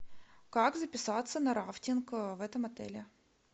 как записаться на рафтинг в этом отеле